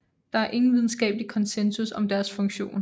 Der er ingen videnskabelig konsensus om deres funktion